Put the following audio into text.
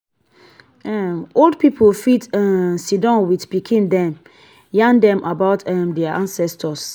um old pipo fit um sidon with pikin dem yarn dem about um their ancestors